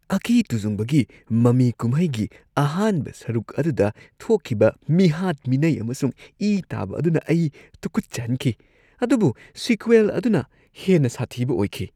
ꯑꯀꯤ-ꯇꯨꯖꯨꯡꯕꯒꯤ ꯃꯃꯤ ꯀꯨꯝꯍꯩꯒꯤ ꯑꯍꯥꯟꯕ ꯁꯔꯨꯛ ꯑꯗꯨꯗ ꯊꯣꯛꯈꯤꯕ ꯃꯤꯍꯥꯠ-ꯃꯤꯅꯩ ꯑꯃꯁꯨꯡ ꯏ ꯇꯥꯕ ꯑꯗꯨꯅ ꯑꯩ ꯇꯨꯛꯀꯠꯆꯍꯟꯈꯤ ꯑꯗꯨꯕꯨ ꯁꯤꯀ꯭ꯋꯦꯜ ꯑꯗꯨꯅ ꯍꯦꯟꯅ ꯁꯥꯊꯤꯕ ꯑꯣꯏꯈꯤ ꯫